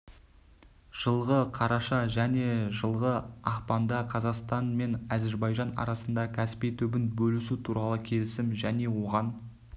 жылғы қараша мен жылғы ақпанда қазақстан мен әзербайжан арасында каспий түбін бөлісу туралы келісім және оған